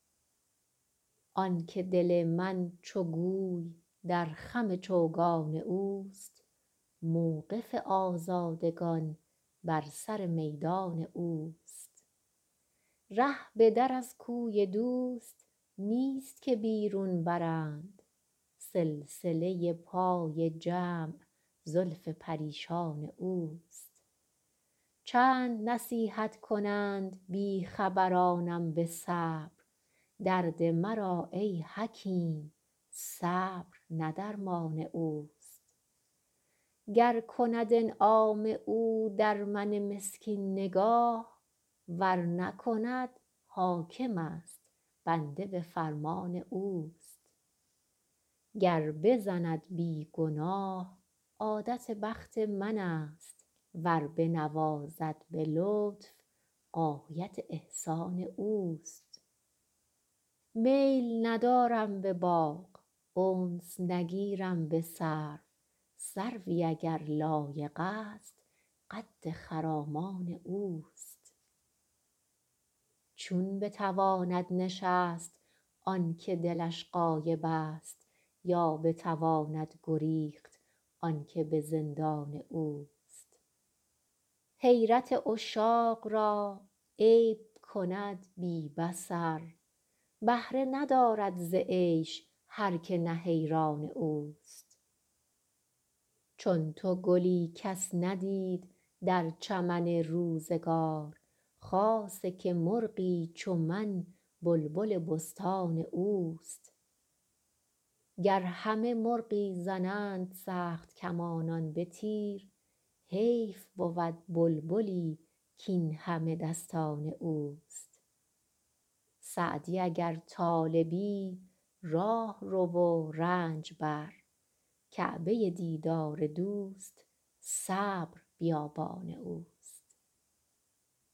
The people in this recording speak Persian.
آن که دل من چو گوی در خم چوگان اوست موقف آزادگان بر سر میدان اوست ره به در از کوی دوست نیست که بیرون برند سلسله پای جمع زلف پریشان اوست چند نصیحت کنند بی خبرانم به صبر درد مرا ای حکیم صبر نه درمان اوست گر کند انعام او در من مسکین نگاه ور نکند حاکمست بنده به فرمان اوست گر بزند بی گناه عادت بخت منست ور بنوازد به لطف غایت احسان اوست میل ندارم به باغ انس نگیرم به سرو سروی اگر لایقست قد خرامان اوست چون بتواند نشست آن که دلش غایبست یا بتواند گریخت آن که به زندان اوست حیرت عشاق را عیب کند بی بصر بهره ندارد ز عیش هر که نه حیران اوست چون تو گلی کس ندید در چمن روزگار خاصه که مرغی چو من بلبل بستان اوست گر همه مرغی زنند سخت کمانان به تیر حیف بود بلبلی کاین همه دستان اوست سعدی اگر طالبی راه رو و رنج بر کعبه دیدار دوست صبر بیابان اوست